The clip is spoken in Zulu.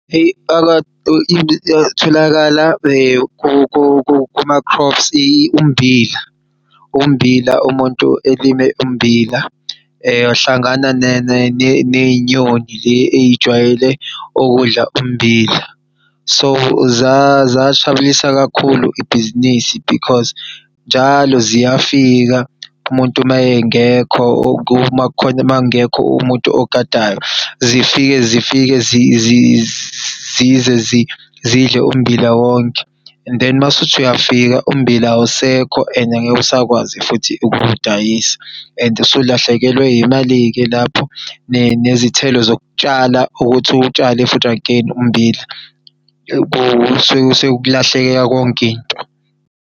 Hheyi tholakala kuma-crops ummbila, ummbila umuntu elime ummbila eyohlangana ney'nyoni le eyijwayele okudla ummbila. So, zashabalalisa kakhulu ibhizinisi because njalo ziyafika umuntu mayengekho makungekho umuntu ogadayo, zifike zidle ummbila wonke. And then mawusuthi uyafika ummbila awusekho and angeke usakwazi futhi ukuwudayisa and usulahlekelwe yimali-ke lapho nezithelo zokutshala ukuthi utshale futhi again ummbila, kusuke ukulahlekelwa yonk'into.